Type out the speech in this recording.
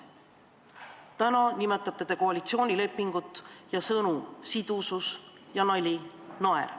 Täna te räägite koalitsioonilepingust ja kasutate sõnu "sidusus" ja "naer".